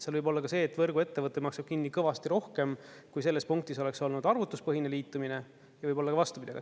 Seal võib olla ka see, et võrguettevõte maksab kinni kõvasti rohkem, kui selles punktis oleks olnud arvutuspõhine liitumine, ja võib olla ka vastupidi.